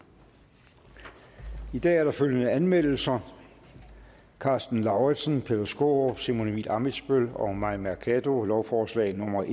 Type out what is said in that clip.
i dag er der følgende anmeldelser karsten lauritzen peter skaarup simon emil ammitzbøll og mai mercado lovforslag nummer